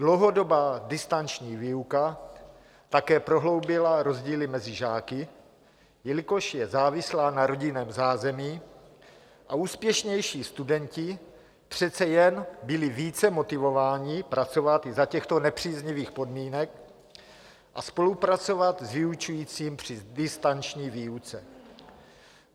Dlouhodobá distanční výuka také prohloubila rozdíly mezi žáky, jelikož je závislá na rodinném zázemí, a úspěšnější studenti přece jen byli více motivováni pracovat i za těchto nepříznivých podmínek a spolupracovat s vyučujícím při distanční výuce.